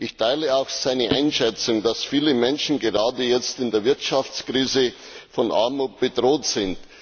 Ich teile auch seine Einschätzung, dass viele Menschen, gerade jetzt in der Wirtschaftskrise, von Armut bedroht sind.